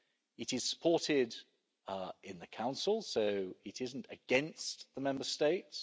It is supported in the Council, so it isn't against the Member States.